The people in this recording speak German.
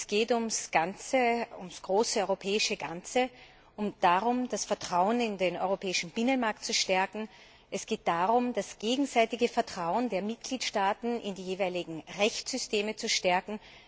Es geht ums große europäische Ganze und darum, das Vertrauen in den europäischen Binnenmarkt zu stärken. Es geht darum, das gegenseitige Vertrauen der Mitgliedstaaten in die jeweiligen Rechtssysteme zu stärken.